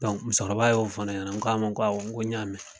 Dɔnku musokɔrɔba y'o fɔ ne ɲɛnɛ n k'a ma ko awɔ n ko n y'a mɛn